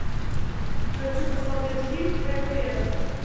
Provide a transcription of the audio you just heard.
хочу посмотреть фильм хэппи энд